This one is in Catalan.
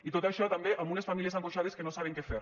i tot això també amb unes famílies angoixades que no saben què fer